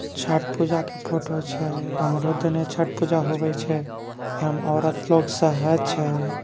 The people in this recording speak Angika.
छठ पूजा के फोटो छै । हमरो तने छठ पूजा होव छै। एम औरत लोग शहाय छे ।